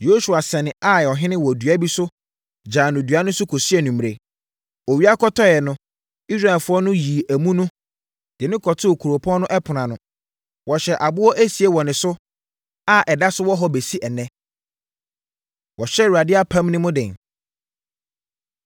Yosua sɛnee Ai ɔhene wɔ dua bi so gyaa no dua no so kɔsii anwummerɛ. Owia kɔtɔeɛ no, Israelfoɔ no yii amu no de no kɔtoo kuropɔn no ɛpono ano. Wɔhyɛɛ aboɔ esie wɔ ne so a ɛda so wɔ hɔ bɛsi ɛnnɛ. Wɔhyɛ Awurade Apam No Mu Den